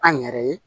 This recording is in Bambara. An yɛrɛ ye